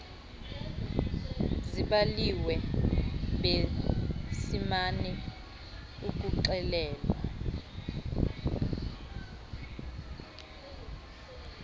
zibaliwe besimana ukuxelelwa